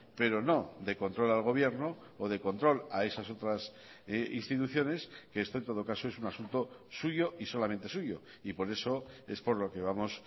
pero no de control al gobierno o de control a esas otras instituciones que este en todo caso es un asunto suyo y solamente suyo y por eso es por lo que vamos